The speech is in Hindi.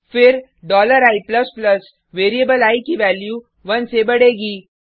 फिर i वेरिएबल आई की वैल्यू 1 से बढेगी